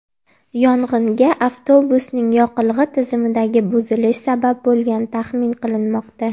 Yong‘inga avtobusning yoqilg‘i tizimidagi buzilish sabab bo‘lgani taxmin qilinmoqda.